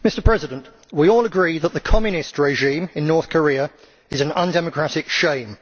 Mr President, we all agree that the Communist regime in North Korea is an undemocratic shame.